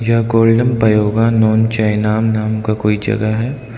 यह golden pagoda नो चेनम नाम का कोई जगह है।